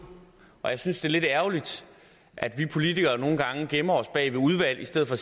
og jeg synes det er lidt ærgerligt at vi politikere nogle gange gemmer os bag ved udvalg i stedet for